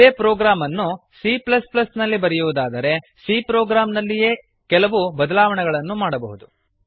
ಇದೇ ಪ್ರೊಗ್ರಾಮ್ ಅನ್ನು c ನಲ್ಲಿ ಬರೆಯುವುದಾದರೆ c ಪ್ರೊಗ್ರಾಮ್ ನಲ್ಲಿಯೇ ಕೆಲವು ಬದಲಾವಣೆ ಮಾಡಬಹುದು